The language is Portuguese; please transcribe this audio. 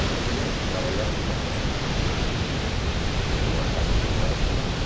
A minha mulher trabalhava no Posto seis, em uma casa que se chamava Pigalle.